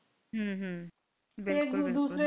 ਹਮ ਹੱਮ ਹੱਮ